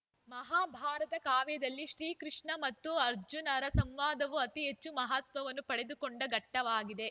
ಮಹಾಭಾರತ ಕಾವ್ಯದಲ್ಲಿ ಶ್ರೀಕೃಷ್ಣ ಮತ್ತು ಅರ್ಜನರ ಸಂವಾದವು ಅತಿ ಹೆಚ್ಚು ಮಹತ್ವವನ್ನು ಪಡೆದುಕೊಂಡ ಘಟ್ಟವಾಗಿದೆ